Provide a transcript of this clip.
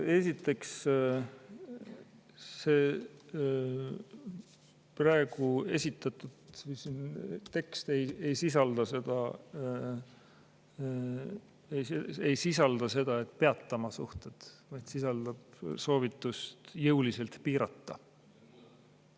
Esiteks, see praegu esitatud tekst ei sisalda seda, et "peatame suhted", vaid sisaldab soovitust jõuliselt piirata.